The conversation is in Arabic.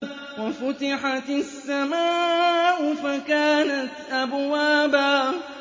وَفُتِحَتِ السَّمَاءُ فَكَانَتْ أَبْوَابًا